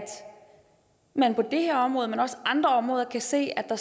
man på det her område men også andre områder kan se at